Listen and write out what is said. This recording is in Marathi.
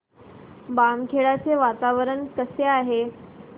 बामखेडा चे वातावरण कसे आहे